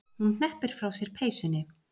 Hún hneppir frá sér peysunni.